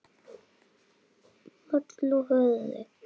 Halla höfði.